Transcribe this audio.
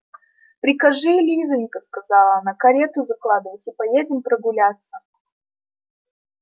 прикажи лизанька сказала она карету закладывать и поедем прогуляться